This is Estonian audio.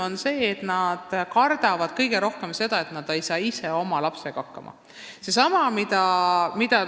Nad kardavad kõige rohkem seda, et nad ei saa ise oma lapsega hakkama.